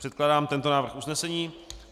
Předkládám tento návrh usnesení: